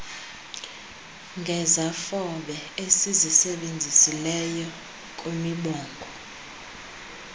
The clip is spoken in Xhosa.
ngezafobe ezizisebenzisileyo kwimibongo